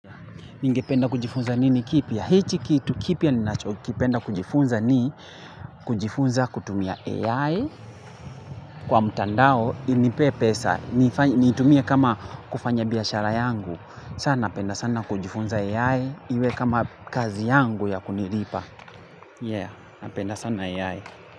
Ningependa kujifunza nini kipya? Hichi kitu kipya ninachokipenda kujifunza ni? Kujifunza kutumia AI. Kwa mutandao, inipee pesa. Niitumie kama kufanya biashara yangu. Sana, penda sana kujifunza AI. Iwe kama kazi yangu ya kuniripa. Yeah, napenda sana AI.